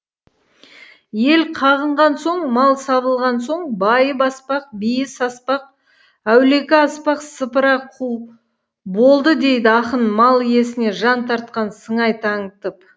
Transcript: ел қағынған соң мал сабылған соң байы баспақ биі саспақ әулекі аспақ сыпыра қу болды дейді ақын мал иесіне жан тартқан сыңай танытып